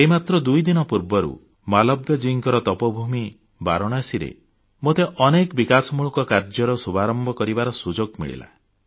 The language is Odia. ଏଇ ମାତ୍ର ଦୁଇଦିନ ପୂର୍ବରୁ ମାଲବ୍ୟଜୀଙ୍କ ତପୋଭୂମି ବାରାଣସୀରେ ମୋତେ ଅନେକ ବିକାଶମୂଳକ କାର୍ଯ୍ୟର ଶୁଭାରମ୍ଭ କରିବାର ସୁଯୋଗ ମିଳିଲା